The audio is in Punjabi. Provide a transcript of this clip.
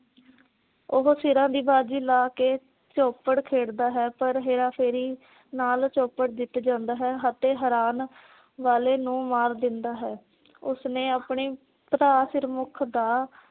ਉਹੋ ਸਿਰਾ ਦੀ ਬਾਜੀ ਲਾ ਕੇ ਚੋਪੜ ਖੇਡ ਦਾ ਹੈ। ਪਰ ਹੇਰਾ ਫੇਰੀ ਨਾਲ ਚੋਪੜ ਜਿੱਤ ਜਾਂਦਾ ਹੈ ਅਤੇ ਹਰਾਨ ਵਾਲੇ ਨੂੰ ਮਾਰ ਦਿੰਦਾ ਹੈ। ਉਸ ਨੇ ਆਪਣੇ ਭਰਾ ਸਿਰਮੁਖ ਦਾ